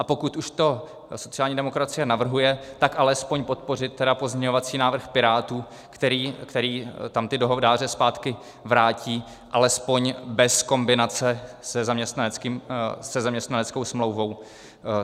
A pokud už to sociální demokracie navrhuje, tak alespoň podpořit tedy pozměňovací návrh Pirátů, který tam ty dohodáře zpátky vrátí alespoň bez kombinace se zaměstnaneckou smlouvou.